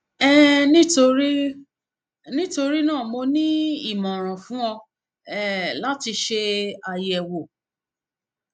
um nítorí nítorí náà mo ní ìmọran fún ọ um láti ṣe ayẹwo s